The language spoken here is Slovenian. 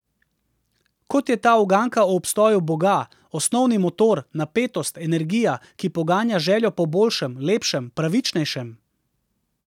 Kot je ta uganka o obstoju boga, osnovni motor, napetost, energija, ki poganja željo po boljšem, lepšem, pravičnejšem?